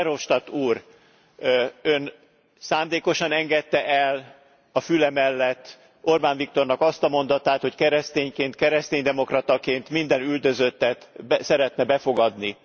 Verhofstadt úr, Ön szándékosan engedte el a füle mellett Orbán Viktornak azt a mondatát, hogy keresztényként, keresztény demokrataként minden üldözöttet szeretne befogadni.